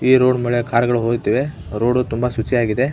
ಈ ರೋಡ್ ಮೇಲೆ ಕಾರ್ ಗಳು ಹೋಗುತ್ತಿವೆ ರೋಡ್ ತುಂಬಾ ಶುಚಿಯಾಗಿದೆ .